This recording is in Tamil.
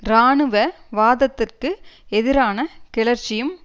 இராணுவ வாதத்திற்கு எதிரான கிளர்ச்சியும்